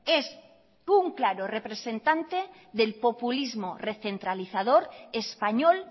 es un claro representante del populismo recentralizador español